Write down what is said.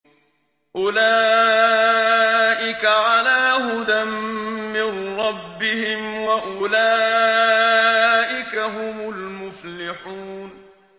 أُولَٰئِكَ عَلَىٰ هُدًى مِّن رَّبِّهِمْ ۖ وَأُولَٰئِكَ هُمُ الْمُفْلِحُونَ